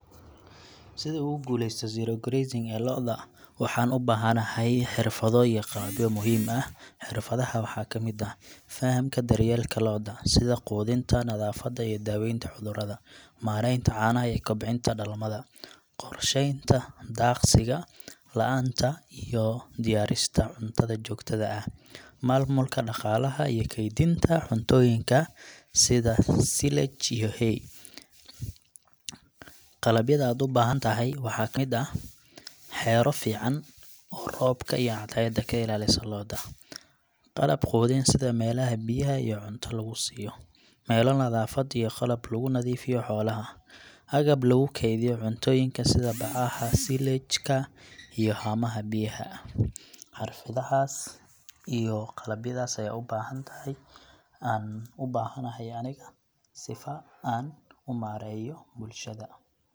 Sidu ugu guulaysato zero grazing ee lo’da, waxaan u baahan tahay xirfado iyo qalabyo muhiim ah. Xirfadaha waxaa ka mid ah: Fahamka daryeelka lo’da, sida quudinta, nadaafadda, iyo daaweynta cudurrada. Maareynta caanaha iyo kobcinta dhalmada. Qorsheynta daaqsiga la'aanta iyo diyaarista cuntada joogtada ah. Maamulka dhaqaalaha iyo kaydinta cuntooyinka sida silage iyo hay. Qalabyada aad u baahan tahayna waxaa kamid ah : Xero fiican oo roobka iyo cadceedda ka ilaalisa lo’da. Qalab quudin sida meelaha biyaha iyo cunta lagu siiyo. Meelo nadaafad iyo qalab lagu nadiifiyo xoolaha. Agab lagu kaydiyo cuntooyinka sida bacaha silage ka iyo haamaha biyaha. Marka xirfadahaas iyo qalabyadaas ayaad u baahan tahay, aan u baahanahay aniga sifa aan u mareeyo bulshada.